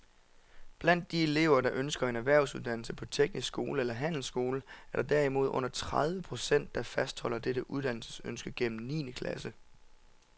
Blandt de elever, der ønsker en erhvervsuddannelse på teknisk skole eller handelsskole, er der derimod under tredive procent, der fastholder dette uddannelsesønske gennem niende klasse.